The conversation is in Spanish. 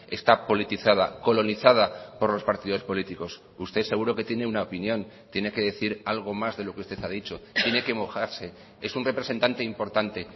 está politizada colonizada por los partidos políticos usted seguro que tiene una opinión tiene que decir algo más de lo que usted ha dicho tiene que mojarse es un representante importante